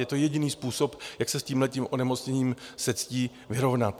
Je to jediný způsob, jak se s tímhle onemocněním se ctí vyrovnat.